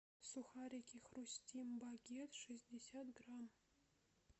сухарики хрустим багет шестьдесят грамм